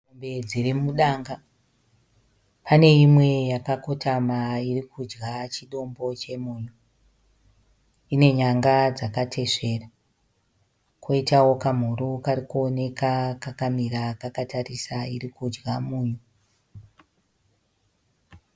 Mombe dziri mudanga. Pane imwe yakakotama iri kudya chidombo chemunyu. Ine nyanga dzakatesvera. Koitawo kamhuru kari kuoneka kakamira kakatarisa irikudya munyu.